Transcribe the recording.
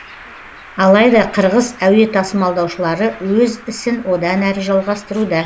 алайда қырғыз әуе тасымалдаушылары өз ісін одан әрі жалғастыруда